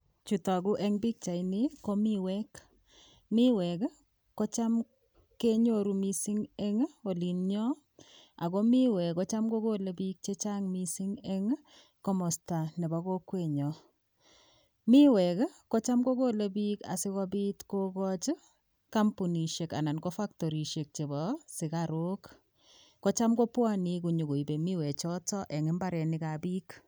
Chu tagu en pichaini ko miweek. Miweek i kocham kenyoru missing' en olin nyo, ako miweek kochan ko kole piik missing' en komasta nepo kokweet nyo. Miweek kocham ko kole piik ssi kopiit kokachi kampunisiek anan ko faktorisiek chepo sukaruuk. Kocham kopwane nyi koipe miwechotok en mbareniik ap piik.